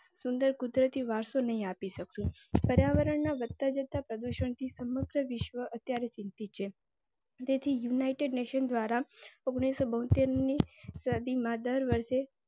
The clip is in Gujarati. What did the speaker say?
સુંદર કુદરતી વારસો નહીં આપી શકું. પર્યાવરણના વધતા જતા પ્રદુષણથી સમગ્ર વિશ્વ અત્યારે ચિંતિત છે. તેથી united nations દ્વારા ઓગણીસો બોતેર ની સદી માં દર વર્ષે.